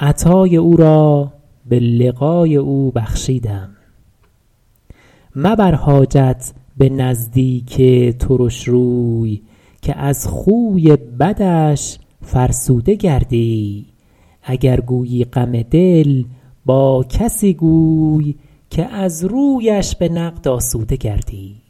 عطای او را به لقای او بخشیدم مبر حاجت به نزدیک ترش روی که از خوی بدش فرسوده گردی اگر گویی غم دل با کسی گوی که از رویش به نقد آسوده گردی